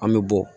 An bɛ bɔ